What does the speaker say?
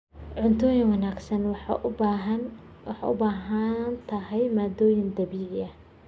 Cuntada wanaagsan waxay u baahan tahay maaddooyin dabiici ah.